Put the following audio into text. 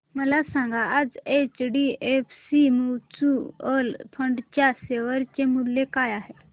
मला सांगा आज एचडीएफसी म्यूचुअल फंड च्या शेअर चे मूल्य काय आहे